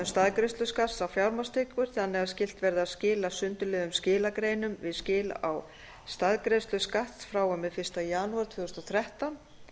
staðgreiðslu skatts á fjármagnstekjur þannig að skylt verði að skila sundurliðuðum skilagreinum við skil á staðgreiðslu skatts frá og með fyrsta janúar tvö þúsund og þrettán